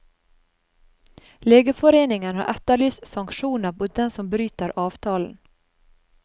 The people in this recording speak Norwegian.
Legeforeningen har etterlyst sanksjoner mot dem som bryter avtalen.